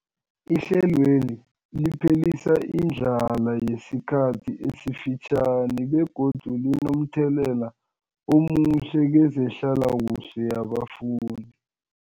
Ihlelweli liphelisa indlala yesikhathi esifitjhani begodu linomthelela omuhle kezehlalakuhle yabafundi.